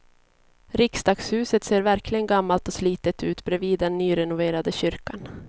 Riksdagshuset ser verkligen gammalt och slitet ut bredvid den nyrenoverade kyrkan.